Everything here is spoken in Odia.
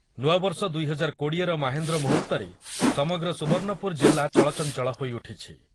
ନୂଆବର୍ଷ ଦୁଇ ହଜାର କୋଡ଼ିଏ ର ମାହେନ୍ଦ୍ର ମୁହୂର୍ତ୍ତରେ ସମଗ୍ର ସୁବର୍ଣ୍ଣପୁର ଜିଲ୍ଲା ଚଳଚଞ୍ଚଳ ହୋଇଉଠିଛି ।